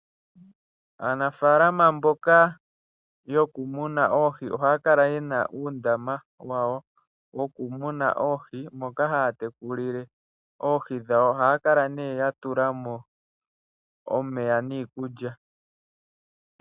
Aanafaalama mboka yoku muna oohi ohaya kala ye na uundama wawo woku muna oohi, moka haya tekulile oohi dhawo. Ohaya kala nee ya tula mo omeya niikulya.